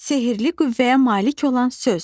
Sehrli qüvvəyə malik olan söz.